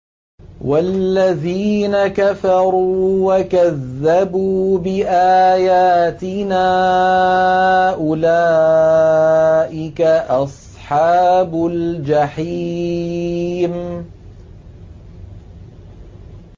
وَالَّذِينَ كَفَرُوا وَكَذَّبُوا بِآيَاتِنَا أُولَٰئِكَ أَصْحَابُ الْجَحِيمِ